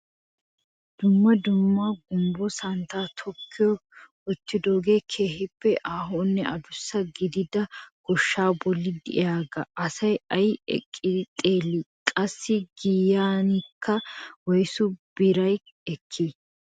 Dumma dumma gumbbo santtaa tokki wottidogee keehippe ahonne adussa gidida goshshaa bolli de'iyaagaa asay aysi eqqidi xeellii? Qassi giyaankka woysu biraa ekkii?